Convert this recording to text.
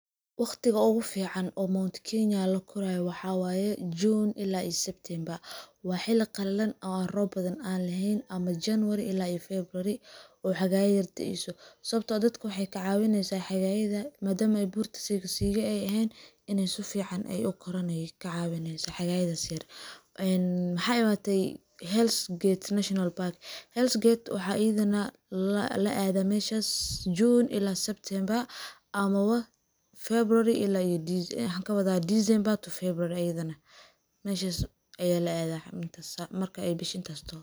Waqtiga ugu fiican oo Mount kenya la koraayo waxa waye June ilaa iyo September ,waa xilli qallalan aan roob badan aan laheyn ama January ilaa iyo February ay xagaaya ayar da'eyso .Sawabtoo ah dadka waxey ka cawineysaa xagayadaan madama ay buurta siiga-siiga ay eheen in ay sifiican u koraan ay ka cawineysaa xagayadaas yar . Maxa imaatay Hell's gate national park waxa la adaa meshaas June ilaa iyo September ama ba February ilaa iyo maxaan kawadaa December to February ayadane ,meshaas ayaa la adaa marka ay bisha intaas taho.